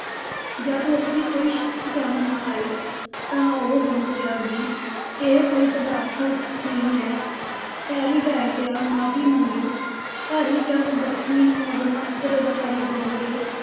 ਜਦ ਉਸਦੀ ਕੋਈ ਸ਼ਕਤੀ ਕੰਮ ਨਾ ਆਈ ਤਾਂ ਉਹ ਸਮਝ ਗਿਆ ਕਿ ਇਹ ਕੋਈ ਸਧਾਰਨ ਹਸਤੀ ਨਹੀਂ ਹੈ, ਪੈਰੀ ਢਹਿ ਪਿਆ, ਮਾਫ਼ੀ ਮੰਗੀ, ਹਰੀ ਚੰਦ ਦੱਖਣੀ ਨੂੰ ਆਪਣਾ ਉਤਰਾਧਿਕਾਰੀ ਸੋਂਪ ਕੇ